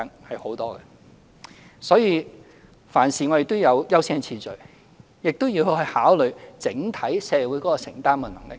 我們處理事情時要有優先次序，亦要考慮整體社會的承擔能力。